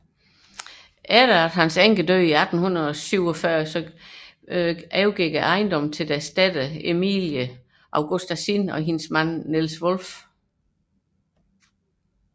Efter hans enkes død i 1847 overgik ejendommen til deres datter Emilie Augusta Zinn og hendes mand Niels Wolff